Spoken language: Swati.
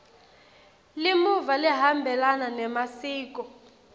limuva lihambelana nemasiko